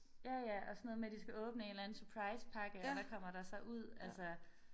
Ja ja og sådan noget med de skal åbne en eller anden surprise pakke og hvad kommer der så ud altså